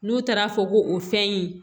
N'u taara fɔ ko o fɛn in